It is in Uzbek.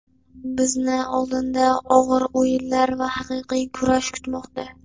Bizni oldinda og‘ir o‘yinlar va haqiqiy kurash kutmoqda.